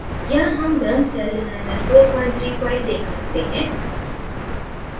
यहाँ हम runcelldesigner43 file देख सकते हैं